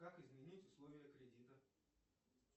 как изменить условия кредита